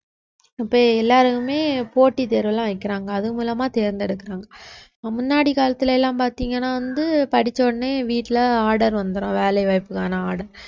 இப்ப எல்லாருக்குமே போட்டி தேர்வு எல்லாம் வைக்கிறாங்க அது மூலமா தேர்ந்தெடுக்கிறாங்க முன்னாடி காலத்துல எல்லாம் பாத்தீங்கன்னா வந்து படிச்ச உடனே வீட்ல order வந்துடும் வேலை வாய்ப்புக்கான order